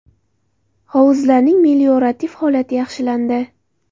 Hovuzlarning meliorativ holati yaxshilandi.